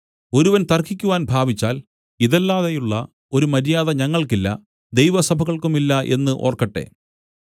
ഒരുവൻ തർക്കിക്കുവാൻ ഭാവിച്ചാൽ ഇതല്ലാതെയുള്ള ഒരു മര്യാദ ഞങ്ങൾക്കില്ല ദൈവസഭകൾക്കുമില്ല എന്ന് ഓർക്കട്ടെ